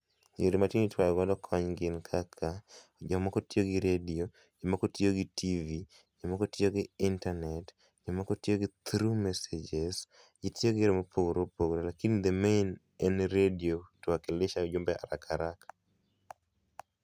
Yore matinde ikwayo go kony gin kaka, jomoko tiyo gi redio, moko tiyo gi TV,jomoko tiyo gi internet, jomoko tiyo gi through mesages. Gitiyo gi yore mopogore opogore lakini the main en redio tu wakilisha ujumbe haraka haraka